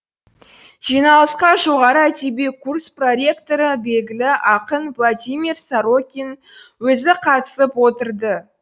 жиналысқа жоғары әдеби курс проректоры белгілі ақын владимир сорокин өзі қатысып отырды